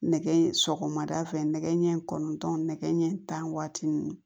Nɛgɛ sɔgɔmada fɛ nɛgɛ ɲɛ kɔnɔntɔn nɛgɛ ɲɛ tan waati nin